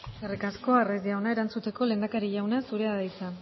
eskerrik asko eskerrik asko arraiz jauna erantzuteko lehendakari jauna zurea da hitza